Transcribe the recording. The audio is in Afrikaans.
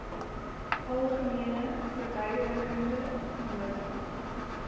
algemene verduidelikende nota